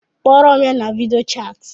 Kporo m ya na video chati